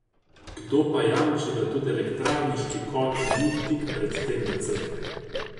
Kdo pa jamči, da tudi elektrarniški kotel ni tik pred tem, da crkne?